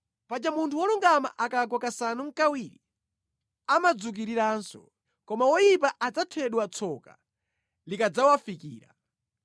paja munthu wolungama akagwa kasanu nʼkawiri amadzukiriranso. Koma woyipa adzathedwa tsoka likadzawafikira.